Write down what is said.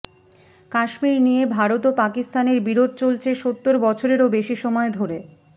কাশ্মীর নিয়ে ভারত ও পাকিস্তানের বিরোধ চলছে সত্তর বছরেরও বেশি সময় ধরে